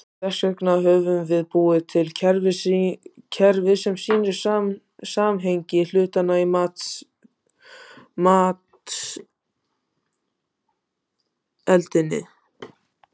Þess vegna höfum við búið til kerfi sem sýnir samhengi hlutanna í matseldinni.